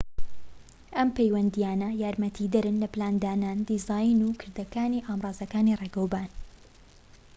ئەم پەیوەندیانە یارمەتیدەرن لە پلاندانان دیزاین و کردەکانی ئامرازەکانی ڕیگاوبان